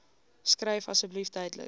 skryf asseblief duidelik